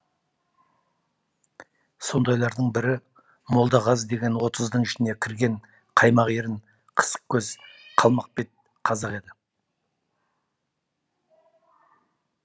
сондайлардың бірі молдағазы деген отыздың ішіне кірген қаймақ ерін қысық көз қалмақ бет қазақ еді